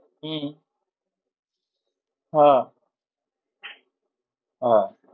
হম হ্যাঁ ওহ